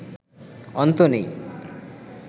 অন্ত নেই